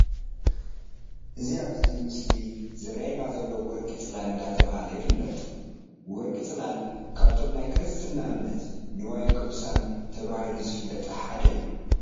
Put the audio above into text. እቲ ኣብዚ ምስሊ ዝረኣየና ዘሎ ወርቂ ፅላል እንዳተባሃለ ይፍለጥ። ወርቂ ፅላል ካብቶም ናይ ክርስትና እምነት ንዋየ ቅዱሳን ተባሂሎም ዝፍለጡ ሓደ እዩ።